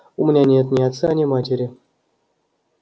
у меня нет ни отца ни матери